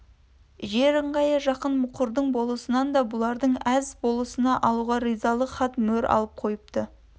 жер ыңғайы жақын мұқырдың болысынан да бұларды әз болысына алуға ризалық хат-мөр алып қойыпты